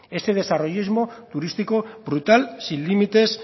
ese desarrollismo turístico brutal sin límites